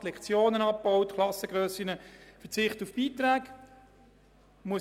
Wir haben Lektionen abgebaut, Klassengrössen erweitert und auf Beiträge verzichtet.